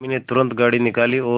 उर्मी ने तुरंत गाड़ी निकाली और